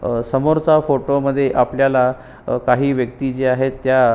अह समोरचा फोटो मध्ये आपल्याला काही व्यक्ति जी आहेत त्या--